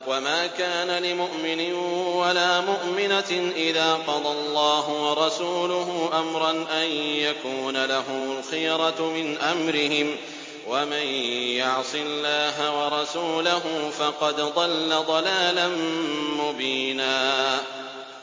وَمَا كَانَ لِمُؤْمِنٍ وَلَا مُؤْمِنَةٍ إِذَا قَضَى اللَّهُ وَرَسُولُهُ أَمْرًا أَن يَكُونَ لَهُمُ الْخِيَرَةُ مِنْ أَمْرِهِمْ ۗ وَمَن يَعْصِ اللَّهَ وَرَسُولَهُ فَقَدْ ضَلَّ ضَلَالًا مُّبِينًا